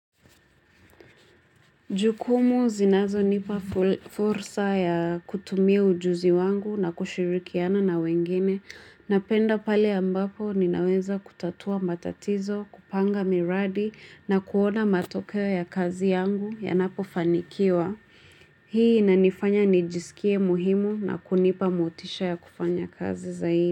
Jukumu zinazo nipa fursa ya kutumia ujuzi wangu na kushirikiana na wengine. Napenda pale ambapo ninaweza kutatua matatizo, kupanga miradi na kuona matokeo ya kazi yangu yanapofanikiwa. Hii inanifanya nijisikie muhimu na kunipa motisha ya kufanya kazi zaidi.